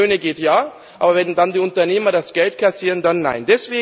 Wenn es um die Löhne geht ja, aber wenn dann die Unternehmer das Geld kassieren, dann nein.